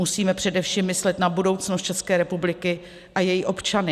Musíme především myslet na budoucnost České republiky a její občany.